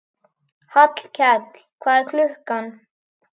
Hallkell, hvað er klukkan?